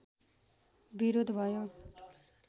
विरोध भयो